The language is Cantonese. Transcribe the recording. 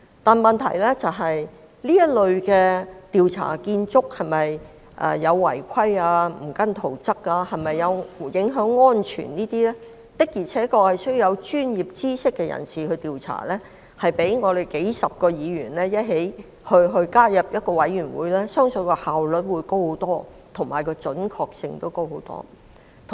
但問題是，這類關乎建築工程是否違規、未有按照圖則施工和影響安全等的調查，確實應由具備專業知識的人士進行，而我相信這將較由數十位議員組成委員會進行調查的效率高得多，準確性亦會大大提升。